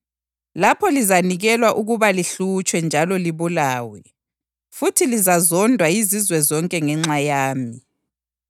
Lapho lizanikelwa ukuba lihlutshwe njalo libulawe, futhi lizazondwa yizizwe zonke ngenxa yami.